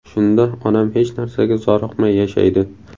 Shunda onam hech narsaga zoriqmay yashaydi.